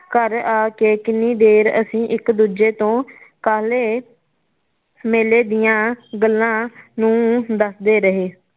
ਘਰ ਆ ਕੇ ਕਿੰਨੀ ਦੇਰ ਅਸੀ ਇਕ ਦੂਜੇ ਤੋਂ ਕਾਹਲੇ ਮੇਲੇ ਦੀਆ ਗੱਲਾਂ ਨੂੰ ਦੱਸਦੇ ਰਹੇ